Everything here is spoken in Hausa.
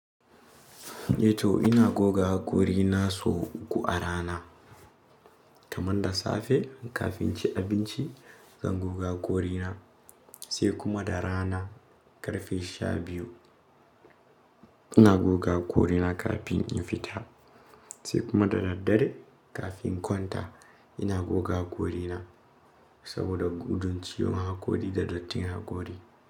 Ato ina goga hakori na so uku a rana. Kamanda safe kafin ci abinci zan goga hakori na, sai kuma da rana ƙarfe sha biyu ina goga hakori na kafin in fita, sai kuma da daddare kafin kwanta ina goga hakori na saboda gundunciyon hakori da dattin hakori.